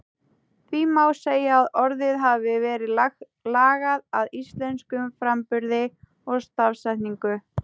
Því má segja að orðið hafi verið lagað að íslenskum framburði og stafsetningu.